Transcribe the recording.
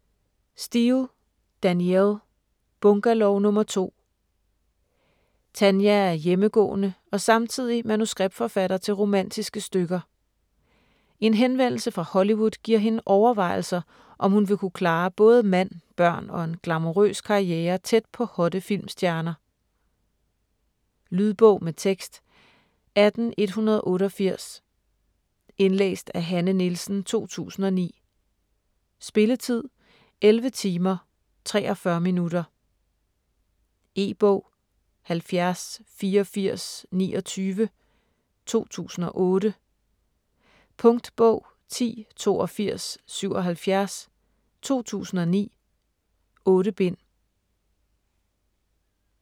Steel, Danielle: Bungalow nr. 2 Tanya er hjemmegående og samtidig manuskriptforfatter til romantiske stykker. En henvendelse fra Hollywood giver hende overvejelser, om hun vil kunne klare både mand, børn og en glamourøs karriere tæt på hotte filmstjerner. Lydbog med tekst 18188 Indlæst af Hanne Nielsen, 2009. Spilletid: 11 timer, 43 minutter. E-bog 708429 2008. Punktbog 108277 2009. 8 bind.